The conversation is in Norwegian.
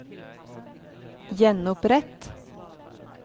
gjenopprett